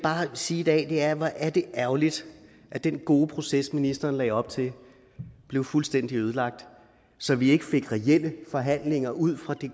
sige i dag er hvor er det ærgerligt at den gode proces ministeren lagde op til blev fuldstændig ødelagt så vi ikke fik reelle forhandlinger ud fra de